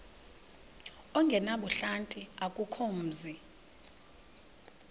ongenabuhlanti akukho mzi